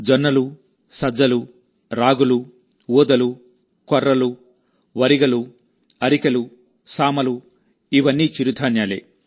జొన్నలు సజ్జలు రాగులు ఊదలు కొర్రలు ఒరిగలు అరికెలు సామలు ఉలవలు ఇవన్నీ చిరుధాన్యాలే